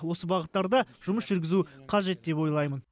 осы бағыттарда жұмыс жүргізу қажет деп ойлаймын